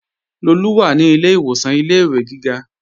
Lolú wà ní ilé ìwòsàn ilé-ìwé gíga